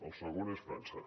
el segon és frança